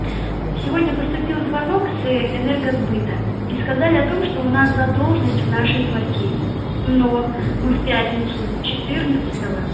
сегодня поступил звонок с ээ энергосбыта и сказали о том что у нас задолженность в нашей квартире но мы в пятницу четырнадцатого